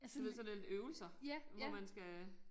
Du ved sådan en øvelser hvor man skal